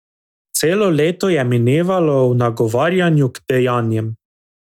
Celo leto je minevalo v nagovarjanju k dejanjem.